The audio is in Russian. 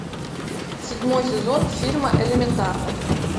седьмой сезон фильма элементарно